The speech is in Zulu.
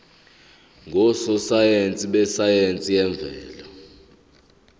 ngososayense besayense yemvelo